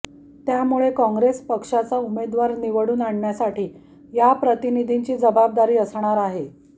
त्यामुळे काँग्रेस पक्षाचा उमेदवार निवडून आणण्यासाठी या प्रतिनिधींची जबाबदारी असणार आहे